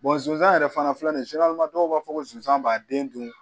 zonzan yɛrɛ fana filɛ nin ye dɔw b'a fɔ ko sonsan b'a den dun